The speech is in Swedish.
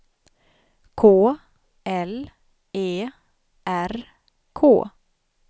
K L E R K